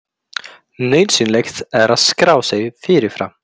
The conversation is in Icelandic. Nauðsynlegt er að skrá sig fyrirfram